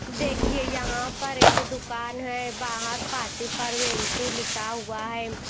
देखिए यहां पर एक दुकान है बाहर पार्टी परवेनसु लिखा हुआ है।